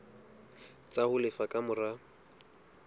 tsa ho lefa ka mora